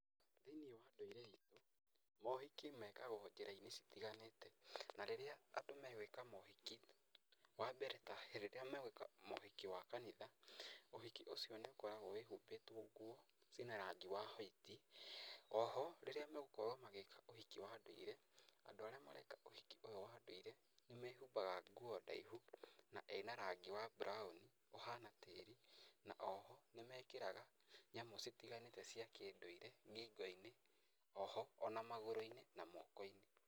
Thĩinĩ wa ndũire itũ, mohiki mekagwo njĩra-inĩ citiganĩte, na rĩrĩa andũ magwĩka mohiki, wa mbere ta rĩrĩa magĩka mohiki wa kanitha, ũhiki ũcio nĩ ũkoragwo wĩhumbĩtwo nguo ciĩna rangi wa white. O ho rĩrĩa magũkorwo magĩka ũhiki wa ndũire, andũ arĩa mareka ũhiki ũyũ wa ndũire nĩmehumbaga nguo ndaihu na ĩna rangi wa brown ũhana tĩĩri. Na oho nĩmekĩraga nyamũ citiganĩte cia kĩndũire ngingo-inĩ, oho ona magurũ-inĩ, na moko-inĩ.